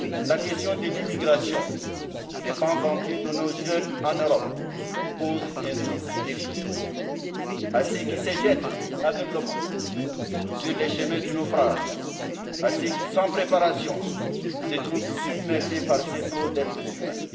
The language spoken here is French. La question de l'émigration de pans entiers de nos jeunes en Europe pose un double défi à ceux qui se jettent aveuglément sur les chemins du naufrage, comme à ceux qui, sans préparation, se trouvent submergés par ces flots d'êtres humains.